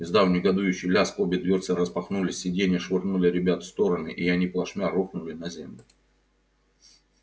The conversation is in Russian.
издав негодующий лязг обе дверцы распахнулись сиденья швырнули ребят в стороны и они плашмя рухнули на землю